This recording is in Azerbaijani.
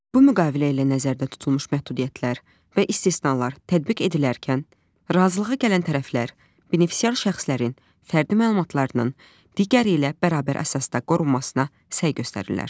Bu müqavilə ilə nəzərdə tutulmuş məhdudiyyətlər və istisnalar tətbiq edilərkən, razılığa gələn tərəflər benefisiar şəxslərin fərdi məlumatlarının digəri ilə bərabər əsasda qorunmasına səy göstərirlər.